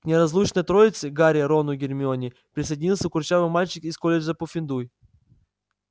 к неразлучной троице гарри рону гермионе присоединился курчавый мальчик из колледжа пуффендуй